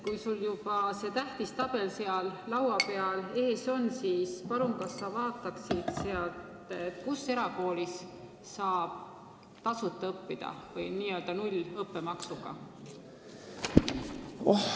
Kui sul see tähtis tabel seal laua peal juba ees on, siis palun, kas sa vaataksid sealt, kus erakoolis saab õppida tasuta või n-ö nullõppemaksuga?